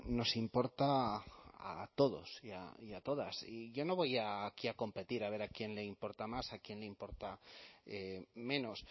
nos importa a todos y a todas y yo no voy aquí a competir a ver a quién le importa más a quién le importa menos